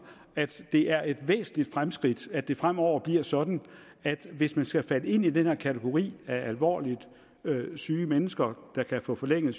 at det er et væsentligt fremskridt at det fremover bliver sådan at man hvis man skal falde ind i den kategori af alvorligt syge mennesker der kan få forlænget